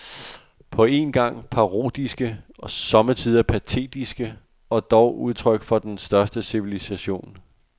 På en gang parodiske, somme tider patetiske, og dog udtryk for den største civilisation.